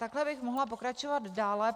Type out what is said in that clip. Takhle bych mohla pokračovat dále.